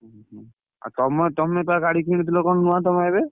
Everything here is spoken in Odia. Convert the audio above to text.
ଉହୁଁ ଆଉ ତମ ତମେ ତା ଗାଡି କିଣିଥିଲ କଣ ନୁଆ ତମେ ଏବେ?